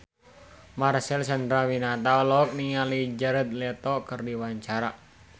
Marcel Chandrawinata olohok ningali Jared Leto keur diwawancara